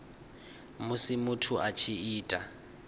musi muthu a tshi ita